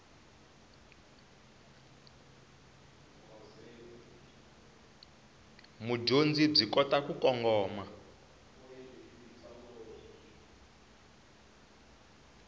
mudyondzi byi kota ku kongoma